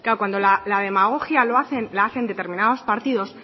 cuando la demagogia lo hacen determinados partidos